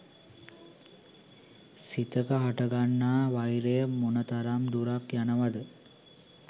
සිතක හටගන්නා වෛරය මොනතරම් දුරක් යනවද!